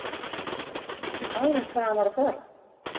Vissi maðurinn hvað hann var að fara?